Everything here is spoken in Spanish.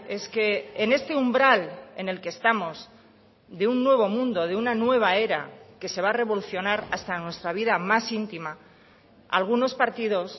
es que en este umbral en el que estamos de un nuevo mundo de una nueva era que se va a revolucionar hasta nuestra vida más íntima algunos partidos